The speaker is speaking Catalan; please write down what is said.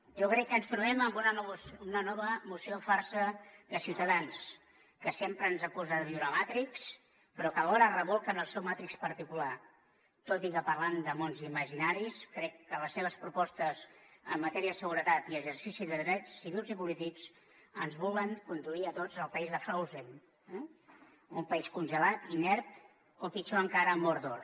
jo crec que ens trobem amb una nova moció farsa de ciutadans que sempre ens acusa de viure a matrix però que alhora es rebolca en el seu matrix particular tot i que parlant de mons imaginaris crec que les seves propostes en matèria de seguretat i exercici de drets civils i polítics ens volen conduir a tots al país de frozen eh un país congelat inert o pitjor encara a mórdor